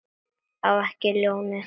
Á ekki ljónið.